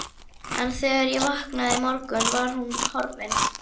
En þegar ég vaknaði í morgun var hún horfin.